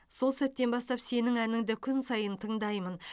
сол сәттен бастап сенің әніңді күн сайын тыңдаймын